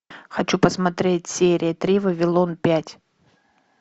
хочу посмотреть серия три вавилон пять